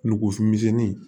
Nugufin misɛnninw